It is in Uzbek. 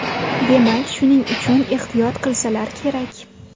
Demak, shuning uchun ehtiyot qilsalar kerak!